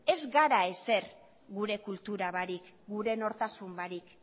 ez gera ezer gure kultura barik gure nortasuna barik